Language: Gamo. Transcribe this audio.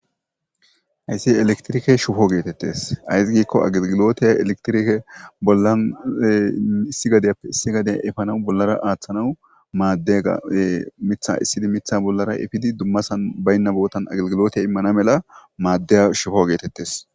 Hayssi electrike shubo geetheththes; ayssi giikko agelgiloothe electrike bollan issi gadeppe issi gadiya efanawu bollara aaththanawu maaddeegaa; miththaa essidi miththaa bollara efidi dummasan baynna boothan agelgiloothiya immana mela maaddiya shubo geetheththes.